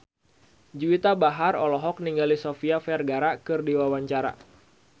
Juwita Bahar olohok ningali Sofia Vergara keur diwawancara